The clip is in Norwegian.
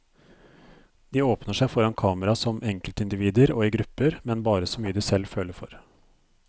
De åpner seg foran kamera som enkeltindivider og i grupper, men bare så mye de selv føler for.